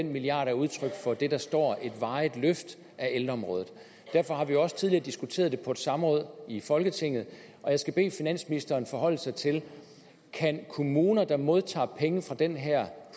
den milliard er udtryk for det der står et varigt løft af ældreområdet derfor har vi også tidligere diskuteret det på et samråd i folketinget og jeg skal bede finansministeren forholde sig til kan kommuner der modtager penge fra den her